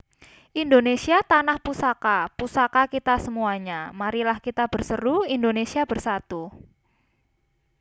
Indonésia tanah poesaka Poesaka kita semoeanja Marilah kita berseroe Indonésia Bersatoe